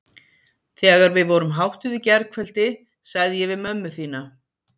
Þegar við vorum háttuð í gærkveldi sagði ég við mömmu þína